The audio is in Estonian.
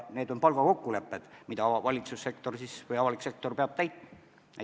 Need on palgakokkulepped, mida valitsussektor või avalik sektor peab täitma.